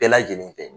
Bɛɛ lajɛlen fɛ